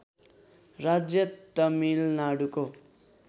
राज्य तमिलनाडुको